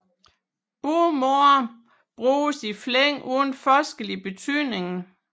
Begge måder bruges i flæng uden forskel i betydningen